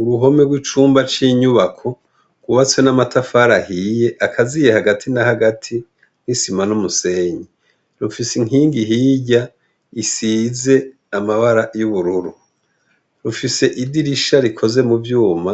Uruhome rw' icumba c' inyubako, ryubatse n' amatafari ahiye akaziye hagati na hagati n' isima n' umusenyi. Rufise inkingi hirya, isize amabara y' ubururu. Rufise idirisha rikoze mu vyuma,